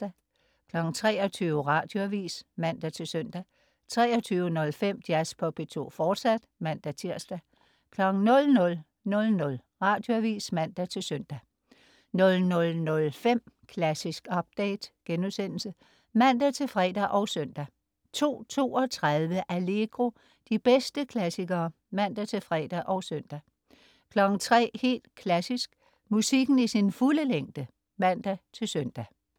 23.00 Radioavis (man-søn) 23.05 Jazz på P2, fortsat (man-tirs) 00.00 Radioavis (man-søn) 00.05 Klassisk update* (man-fre og søn) 02.32 Allegro. De bedste klassikere (man-fre og søn) 03.00 Helt Klassisk. Musikken i sin fulde længde (man-søn)